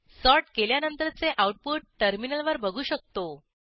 sort केल्यानंतरचे output टर्मिनलवर बघू शकतो